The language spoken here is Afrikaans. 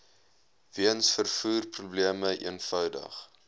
weens vervoerprobleme eenvoudig